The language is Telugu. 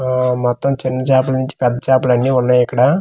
సొ మొత్తం చిన్న చాపల నుంచి పెద్ద చాపలు అన్ని ఉన్నాయి ఇక్కడ.